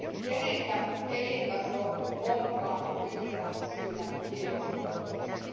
Kenen elintaso onkaan yhtenä syynä ilmastonmuutokseen?